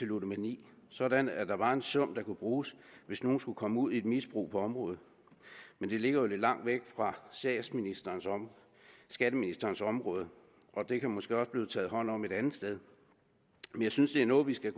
ludomani sådan at der var en sum der kunne bruges hvis nogen skulle komme ud i et misbrug på området men det ligger jo lidt langt væk fra skatteministerens område og der kan måske også blive taget hånd om det et andet sted men jeg synes det er noget vi skal